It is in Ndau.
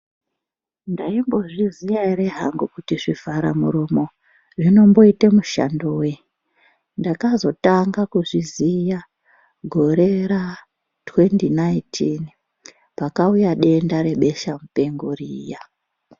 Ndaimbozviziya here hangu here kuti zvivharamuromo zvinomboita mushando wei. Ndakatanga kuzviziya gorera2019 pakauya denda rebeshamupengo riya.